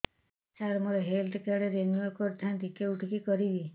ସାର ମୋର health card renew କରିଥାନ୍ତି କେଉଁଠି କରିବି